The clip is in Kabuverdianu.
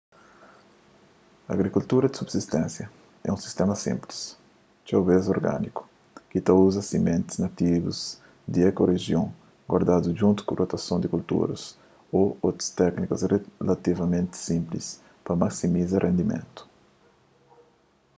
agrikultura di subsisténsia é un sistéma sinplis txeu bês organiku ki ta uza simentis nativus di ekorijion guardadu djuntu ku rotason di kulturas ô otus téknikas relativamenti sinplis pa masimiza rendimentu